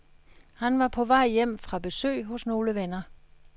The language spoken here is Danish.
Han var på vej hjem fra besøg hos nogle venner.